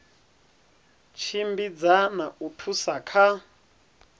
tshimbidza na u thusa kha